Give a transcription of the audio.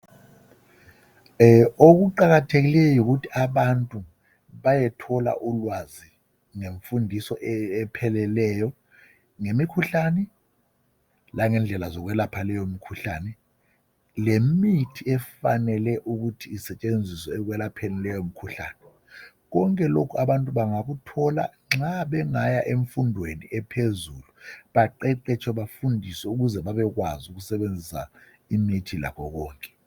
okuqakathekileyo yikuthi abantu bayethola ulwazi lemfundiso epheleleyo ngemikhuhlane langendlela zokwelapha leyo mikhuhlane lemithi efanele ukuthi isetshenziswa ekwelapheni leyomkhuhlane konke lokhu abantu bangakuthola nxa bengaya emfundweni ephezulu baqeqetshe bafundiswe ukuze babekwazi ukusebenzisa imithi lakho konke